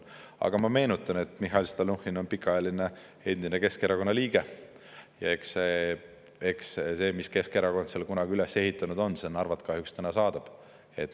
Aga ma meenutan, et Mihhail Stalnuhhin on endine pikaajaline Keskerakonna liige, ja eks see, mis Keskerakond seal kunagi üles on ehitanud, Narvat kahjuks täna saadab.